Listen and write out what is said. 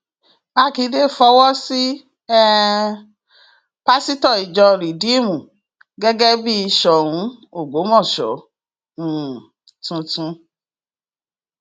mákindé fọwọ sí um pásítọ ìjọ rìdíìmù gẹgẹ bíi soun ọgbọmọṣọ um tuntun